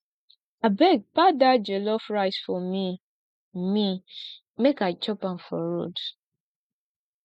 abeg pack dat jollof rice for me me make i chop am for road